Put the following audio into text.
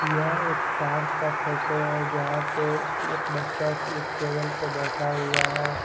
यह एक पार्क का फोटो है जहां पे एक बच्चा एक टेबल पे बैठा हुआ है।